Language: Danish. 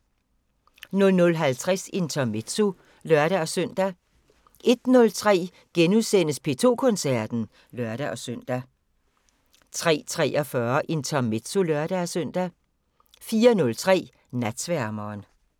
00:50: Intermezzo (lør-søn) 01:03: P2 Koncerten *(lør-søn) 03:43: Intermezzo (lør-søn) 04:03: Natsværmeren